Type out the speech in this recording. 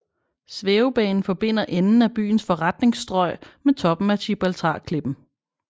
Svævebanen forbinder enden af byens forretningsstrøg med toppen af Gibraltarklippen